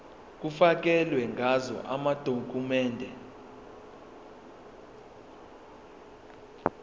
kufakelwe ngazo amadokhumende